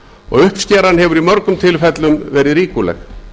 og uppskeran hefur í mörgum tilvikum verið ríkuleg